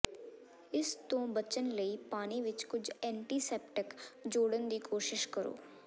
ਇਸ ਤੋਂ ਬਚਣ ਲਈ ਪਾਣੀ ਵਿੱਚ ਕੁਝ ਐਂਟੀਸੈਪਟਿਕ ਜੋੜਨ ਦੀ ਕੋਸ਼ਿਸ਼ ਕਰੋ